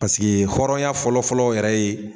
Paseke hɔrɔnya fɔlɔ fɔlɔ yɛrɛ ye